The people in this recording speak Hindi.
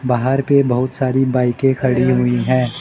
बाहर भी बहुत सारी बाइके खड़ी हुई है।